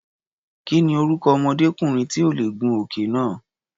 Kí ni orúkọ ọmọdékùnrin tí ò lè gun òkè náà?